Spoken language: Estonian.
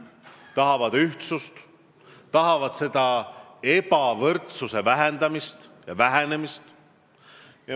Nad tahavad ühtsust, ebavõrdsuse vähendamist ja vähenemist.